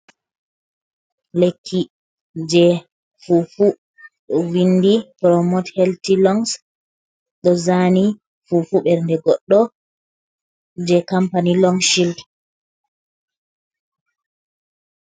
Lekki je fufu ɗo windi promot helti longs, ɗo zani fufu ɓernde goɗɗo je campany long shield.